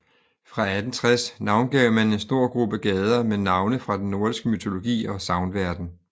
Fra 1860 navngav man en stor gruppe gader med navne fra den nordiske mytologi og sagnverden